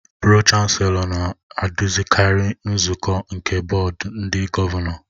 Pro-Chancelọ na-eduzikarị nzukọ nke Bọọdụ ndị Gọvanọ